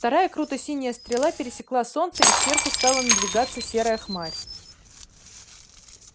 вторая круто-синяя стрела пересекла солнце и сверху стала надвигаться серая хмарь